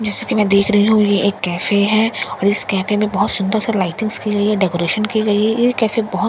जैसा कि मैं देख रही हूँ यह एक कैफै है और इस कैफै में बहुत सुंदर सा लाइटिंग्स की गई है डेकरैशन की गई है यह कैफै बहुत खूबसूरत लग --